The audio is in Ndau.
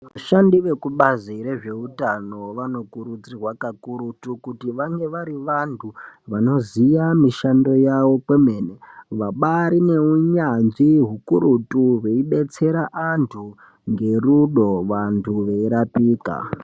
Vashandi vekubazi rezveutano vanokurudzirwa kakurutu kuti vange vari vantu vanoziya mishando yavo kwemene vabari neunyanzvi hukurutu hweibetsera antu ngerudo vantu veirapika.